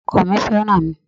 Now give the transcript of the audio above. Ọkọ mi fẹ́ràn mi.